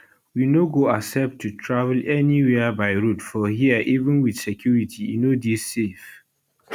we no go accept to travel anywia by road for hia even with security e no dey safe